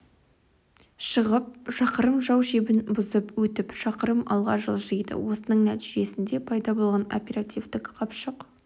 шығып шақырым жау шебін бұзып өтіп шақырым алға жылжиды осының нәтижесінде пайда болған оперативтік қапшық